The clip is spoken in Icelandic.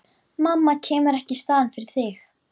Mamma kemur ekki í staðinn fyrir þig.